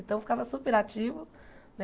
Então ficava super ativo.